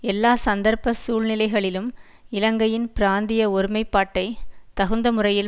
எல்லா சந்தர்ப்ப சூழ்நிலைகளிலும் இலங்கையின் பிராந்திய ஒருமைப்பாட்டை தகுந்த முறையில்